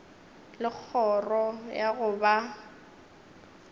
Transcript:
le kgoro ya go ba